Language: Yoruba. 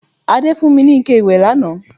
Adé fún mi ní ike ìwẹ̀ lánàá